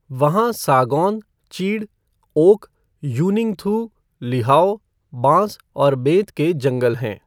वहां सागौन, चीड़, ओक, यूनिंगथू, लीहाओ, बांस और बेंत के जंगल हैं।